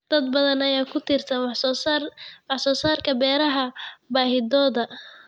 Dad badan ayaa ku tiirsan wax soo saarka beeraha baahidooda.